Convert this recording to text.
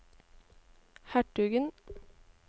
hertugen